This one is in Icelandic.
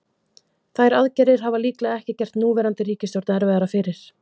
Þær aðgerðir hafa líklega ekki gert núverandi ríkisstjórn erfiðara fyrir.